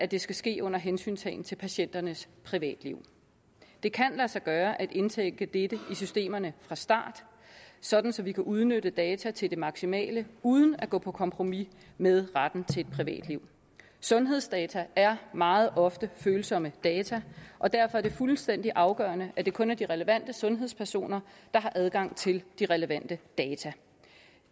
det skal ske under hensyntagen til patienternes privatliv det kan lade sig gøre at indtænke dette i systemerne fra start sådan så vi kan udnytte data til det maksimale uden at gå på kompromis med retten til et privatliv sundhedsdata er meget ofte følsomme data og derfor er det fuldstændig afgørende at det kun er de relevante sundhedspersoner der har adgang til de relevante data